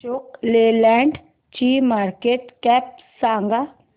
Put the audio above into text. Ashok Leyland ची market cap सांगा